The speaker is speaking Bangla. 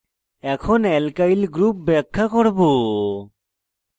এখন alkyl groups ব্যাখ্যা করব